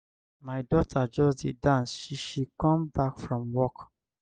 my daughter just dey dance she she come back from work.